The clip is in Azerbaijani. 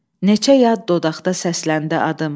Neçə yad dodaqda səsləndi adım.